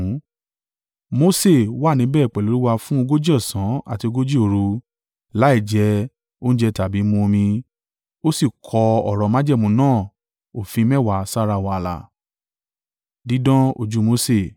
Mose wà níbẹ̀ pẹ̀lú Olúwa fún ogójì ọ̀sán àti ogójì òru láìjẹ oúnjẹ tàbí mu omi. Ó sì kọ ọ̀rọ̀ májẹ̀mú náà òfin mẹ́wàá sára wàláà.